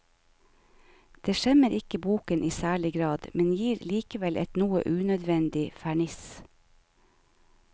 Det skjemmer ikke boken i særlig grad, men gir likevel et noe unødvendig ferniss.